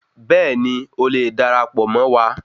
Bẹ́ẹ̀ni,o lè darapọ̀ Mọ wá.